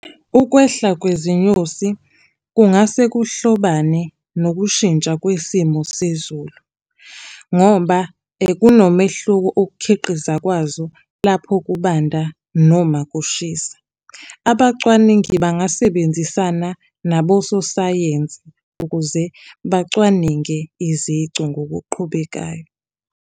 Ukwehla kwezinyosi kungase kuhlobane nokushintsha kwesimo sezulu, ngoba kunomehluko ukukhiqiza kwazo lapho kubanda noma kushisa. Abacwaningi bangasebenzisana naboso sayensi ukuze bacwaninge izici ngokuqhubekayo.